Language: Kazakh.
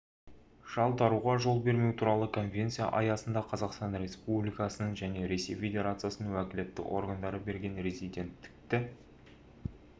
жалтаруға жол бермеу туралы конвенция аясында қазақстан республикасының және ресей федерациясының уәкілетті органдары берген резиденттікті